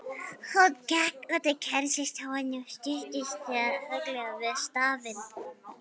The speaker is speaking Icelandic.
Hún gekk út úr kennslustofunni og studdist þunglega við stafinn.